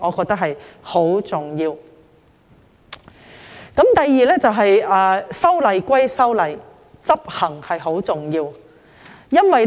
第二點是，修例歸修例，執行是很重要的。